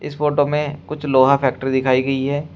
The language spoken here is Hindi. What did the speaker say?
इस फोटो में कुछ लोहा फैक्ट्री दिखाई गई है।